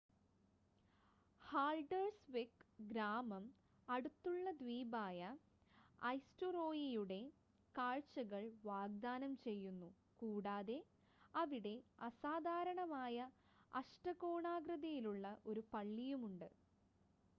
Haldarsvik ഗ്രാമം അടുത്തുള്ള ദ്വീപായ ഐസ്‌റ്റുറോയിയുടെ കാഴ്ചകൾ വാഗ്‌ദാനം ചെയ്യുന്നു കൂടാതെ അവിടെ അസാധാരണമായ അഷ്ടകോണാകൃതിയിലുള്ള ഒരു പള്ളിയുമുണ്ട്